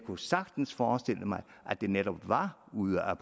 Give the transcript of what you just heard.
kunne sagtens forestille mig at det netop var ude af